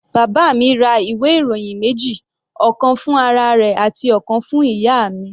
Bàbá mi ra ìwé ìròyìn méjì, ọ̀kan fún ara rẹ̀ àti ọ̀kan fún ìyá mi.